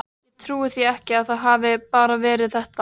Ég trúi því ekki að það hafi bara verið þetta.